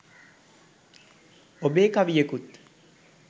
ඔබේ කවියකුත්